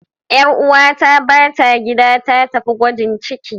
Ƴar uwata bata gida, ta tafi gwajin ciki.